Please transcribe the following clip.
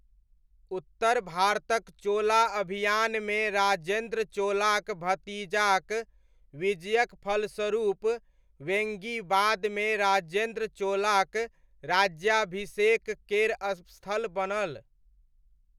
उत्तर भारतक चोला अभियानमे राजेन्द्र चोलाक भतीजाक विजयक फलस्वरूप वेङ्गी बादमे राजेन्द्र चोलाक राज्याभिषेक केर स्थल बनल।